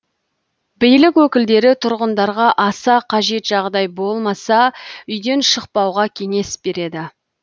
билік өкілдері тұрғындарға аса қажет жағдай болмаса үйден шықпауға кеңес береді